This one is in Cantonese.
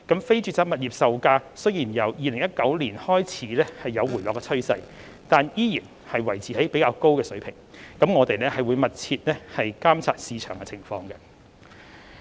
非住宅物業售價雖然由2019年開始有回落的趨勢，但依然維持較高水平，政府會繼續密切監察市場情況。